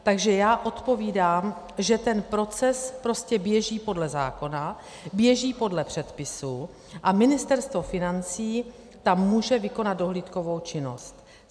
Takže já odpovídám, že ten proces prostě běží podle zákona, běží podle předpisů a Ministerstvo financí tam může vykonat dohlídkovou činnost.